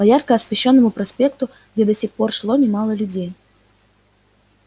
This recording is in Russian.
по ярко освещённому проспекту где до сих пор шло немало людей